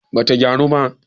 bata gyaru ba